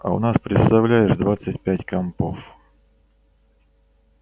а у нас представляешь двадцать пять компов